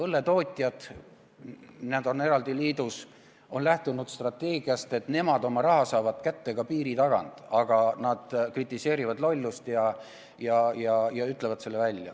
Õlletootjad on eraldi liidus ja nad on lähtunud strateegiast, et nemad saavad oma raha kätte ka piiri tagant, aga nad kritiseerivad lollust ja ütlevad selle välja.